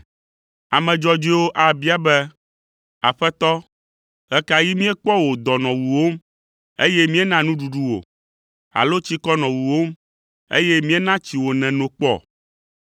“Ame dzɔdzɔewo abia be, ‘Aƒetɔ, ɣe ka ɣi míekpɔ wò dɔ nɔ wuwòm, eye míena nuɖuɖu wò? Alo tsikɔ nɔ wuwòm, eye míena tsi wò nèno kpɔ?